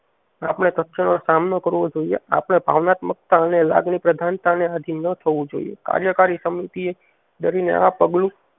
આપણે સક્ષમવર સામનો કરવો જોઈએ આપણે ભાવનાત્મકતા અને લાગણી પ્રધાનતા ને આધિ ન થવું જોઈએ કાર્યકારી સમિતિ એ ડરીને આ પગલું